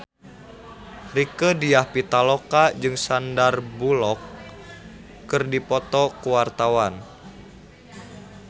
Rieke Diah Pitaloka jeung Sandar Bullock keur dipoto ku wartawan